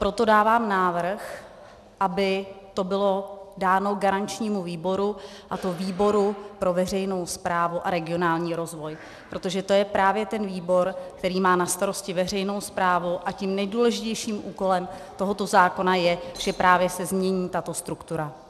Proto dávám návrh, aby to bylo dáno garančnímu výboru, a to výboru pro veřejnou správu a regionální rozvoj, protože to je právě ten výbor, který má na starosti veřejnou správu, a tím nejdůležitějším úkolem tohoto zákona je, že právě se změní tato struktura.